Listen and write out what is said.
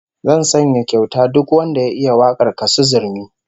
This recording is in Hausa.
Zan sanya kyauta duk wanda ya iya wakar Kassu Zurmi